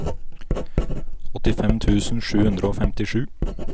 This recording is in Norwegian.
åttifem tusen sju hundre og femtisju